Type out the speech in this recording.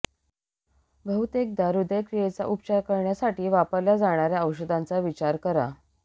बहुतेकदा ह्दयक्रियेचा उपचार करण्यासाठी वापरल्या जाणार्या औषधांचा विचार करा